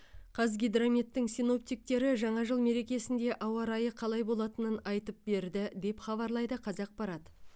қазгидрометтің синоптиктері жаңа жыл мерекесінде ауа райы қалай болатынын айтып берді деп хабарлайды қазақпарат